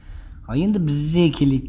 ал енді бізге келейік